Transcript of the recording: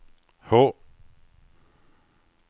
H